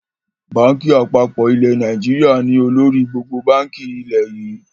Báńkì àpapọ̀ ilẹ̀ Nàìjíríà ni olórí gbogbo báńkì ilẹ̀ yii